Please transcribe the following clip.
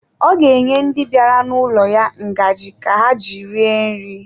Ọ ga-enye ndi bịara n'ụlọ ya ngaji ka ha ji rie nri.